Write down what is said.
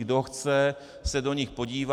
Kdo chce, se do nich podívá.